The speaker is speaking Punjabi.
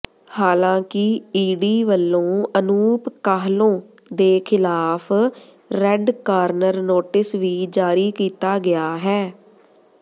ਹਾਲਾਂਕਿ ਈਡੀ ਵੱਲੋਂ ਅਨੂਪ ਕਾਹਲੋਂ ਦੇ ਖ਼ਿਲਾਫ਼ ਰੈੱਡ ਕਾਰਨਰ ਨੋਟਿਸ ਵੀ ਜਾਰੀ ਕੀਤਾ ਗਿਆ ਹੈ